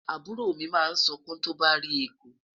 àbúrò mi ma sunkun tó bà rí ẹkú